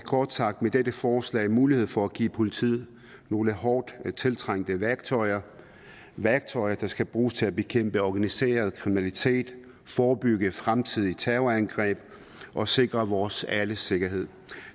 kort sagt med dette forslag mulighed for at give politiet nogle hårdt tiltrængte værktøjer værktøjer der skal bruges til at bekæmpe organiseret kriminalitet forebygge fremtidige terrorangreb og sikre vores alles sikkerhed